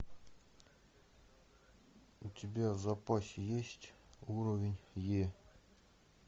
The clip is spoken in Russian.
у тебя в запасе есть уровень е